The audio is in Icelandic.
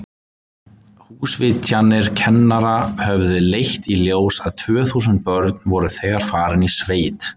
Húsvitjanir kennara höfðu leitt í ljós að tvö þúsund börn voru þegar farin í sveit.